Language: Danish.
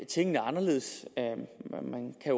tingene anderledes man kan